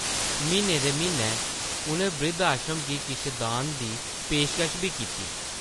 म्हीने दे म्हीनै उʼनें ब्रिद्ध-आश्रम गी किश दान दी पेशकश बी कीती ।